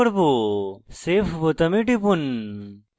save বোতামে টিপুন